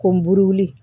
Ko buruli